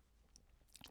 TV 2